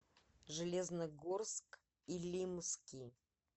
железногорск илимский